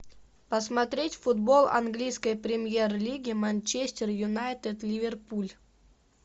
посмотреть футбол английской премьер лиги манчестер юнайтед ливерпуль